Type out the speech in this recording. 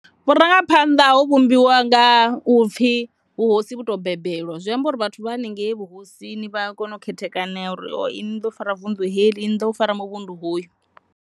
Vhurangaphanḓa ho vhumbiwa nga u pfhi vhuhosi vhu to bebelwa zwi ambori vhathu vha henengei vhuhosini vha a kona u khethekanea uri oho inwi ni ḓo fara vunḓu heḽi inwi ni ḓo fara muvhundu hoyu.